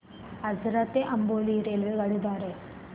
आजरा ते अंबोली रेल्वेगाडी द्वारे